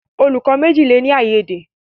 Olùkó méjì le ní aiyede.